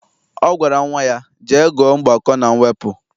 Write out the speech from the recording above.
Ọ gwara nnwa ya, jee gụọ mgbakọ na mwepụ!